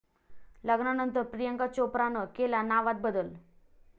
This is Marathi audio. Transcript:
लग्नानंतर प्रियांका चोप्रानं केला नावात बदल